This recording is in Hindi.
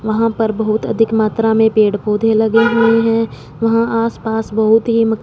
वहां पर बहोत अधिक मात्रा मे पेड़-पौधे लगे हुए है। वहां आस पास बहोत ही म--